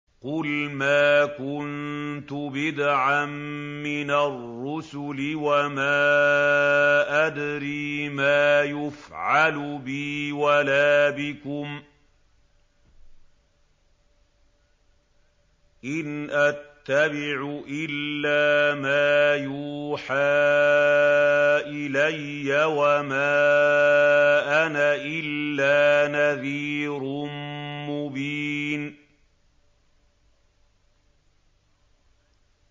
قُلْ مَا كُنتُ بِدْعًا مِّنَ الرُّسُلِ وَمَا أَدْرِي مَا يُفْعَلُ بِي وَلَا بِكُمْ ۖ إِنْ أَتَّبِعُ إِلَّا مَا يُوحَىٰ إِلَيَّ وَمَا أَنَا إِلَّا نَذِيرٌ مُّبِينٌ